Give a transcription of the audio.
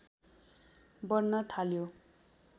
बढ्न थाल्यो